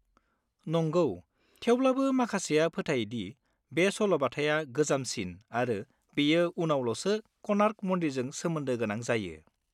नंगौ, थेवब्लाबो माखासेया फोथायो दि, बे सल'बाथाया गोजामसिन आरो बेयो उनावल'सो क'नार्क मन्दिरजों सोमोन्दो गोनां जायो।